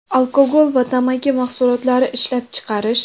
alkogol va tamaki mahsulotlari ishlab chiqarish;.